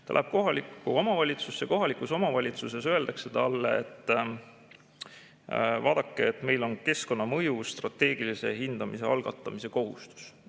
Ta läheb kohalikku omavalitsusse, kohalikus omavalitsuses öeldakse talle, et vaadake, meil on keskkonnamõju strateegilise hindamise algatamise kohustus.